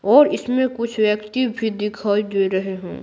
और इसमें कुछ व्यक्ति भी दिखाई दे रहे हैं।